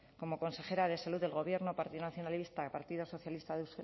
como consejera de salud del gobierno partido nacionalista partido socialista de euskadi